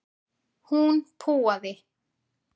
Hún púaði.